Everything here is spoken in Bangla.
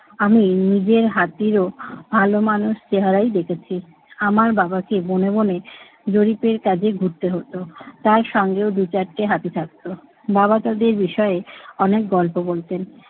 আমি নিজের হাতিরও ভাল মানুষ চেহারাই দেখেছি। আমার বাবাকে বনে বনে জরিপের কাজে ঘুরতে হত। তার সঙ্গেও দু চারটে হাতি থাকত। বাবা তাদের বিষয়ে অনেক গল্প বলতেন।